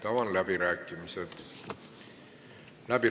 Avan läbirääkimised.